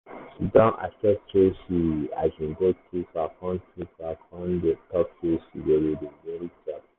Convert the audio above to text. she don accept sey she um go too far kon too far kon talk sey she go dey-dey very careful.